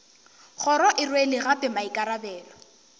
kgoro e rwele gape maikarabelo